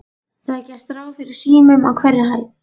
Það er gert ráð fyrir símum á hverri hæð.